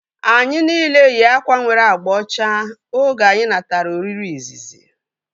Anyi nile yi akwa nwere agba ọcha oge anyị natara oriri izizi